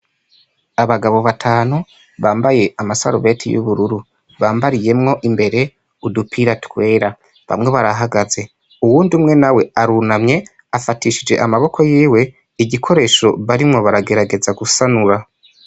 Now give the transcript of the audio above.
Abagabo batanu bambay' amasarubeti y' ubururu bambariyemw' imbere udupira twera, bamwe barahagaze, uwundi umwe nawe arunamy' afatishij' amaboko yiw' igikoresho barimwo baragerageza gusanura.